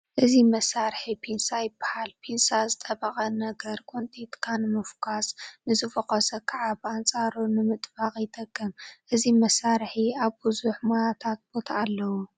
እዚ መሳርሒ ፒንሳ ይበሃል፡፡ ፒንሳ ዝጠበቐ ነገር ቆንጢጥካ ንምፍዃስ ንዝፈኾሰ ከዓ ብኣንፃሩ ንምጥባቕ ይጠቅም፡፡ እዚ መሳርሒ ኣብ ብዙሕ ሞያታት ቦታ ኣለዎ፡፡